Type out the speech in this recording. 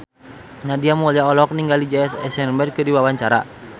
Nadia Mulya olohok ningali Jesse Eisenberg keur diwawancara